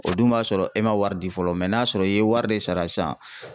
O dun b'a sɔrɔ e man wari di fɔlɔ n'a y'a sɔrɔ i ye wari de sara sisan